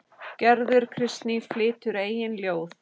Gerður Kristný flytur eigin ljóð.